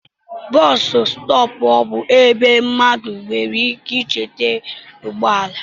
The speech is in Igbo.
Bọs stọọpu bú ebe mmadụ nwere ike ichere ụgbọala.